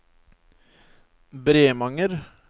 Bremanger